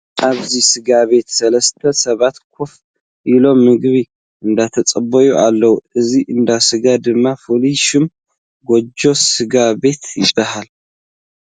ኣብዚ ስጋ ቤት ሰለስተ ሰባት ኮፍ ኢሎም ምግቢ እንዳተፀበዩ ኣለዉ። እዚ እንዳ ስጋ ድማ ፍሉይ ሽሙ ጎጆ ስጋ ቤት ይባሃል።